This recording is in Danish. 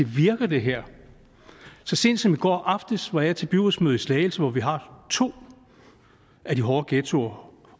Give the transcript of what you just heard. virke det her så sent som i går aftes var jeg til byrådsmøde i slagelse hvor vi har to af de hårde ghettoområder